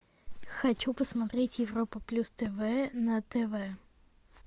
хочу посмотреть европа плюс тв на тв